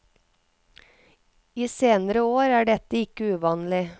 I senere år er dette ikke uvanlig.